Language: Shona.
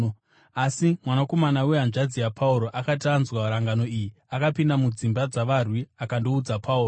Asi, mwanakomana wehanzvadzi yaPauro akati anzwa rangano iyi, akapinda mudzimba dzavarwi akandoudza Pauro.